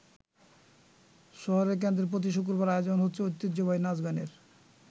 শহরের কেন্দ্রে প্রতি শুক্রবার আয়োজন হচ্ছে ঐতিহ্যবাহী নাচ গানের।